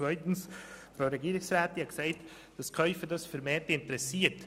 Zweitens hat die Frau Regierungsrätin gesagt, dass sich die Käufer vermehrt dafür interessieren.